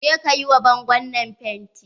Je ka yi wa bangon nan fenti.